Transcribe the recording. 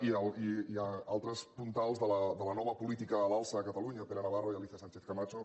i altres puntals de la nova política a l’alça a catalunya pere navarro i alícia sánchez camacho